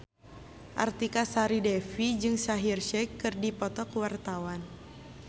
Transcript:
Artika Sari Devi jeung Shaheer Sheikh keur dipoto ku wartawan